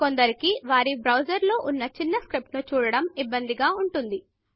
కొందరికి వారి బ్రౌజర్లలో చిన్న స్క్రిప్ట్ను చూడటం ఇబ్బందిగా ఉంటుంది